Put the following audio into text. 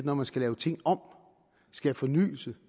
når man skal lave ting om skabe fornyelse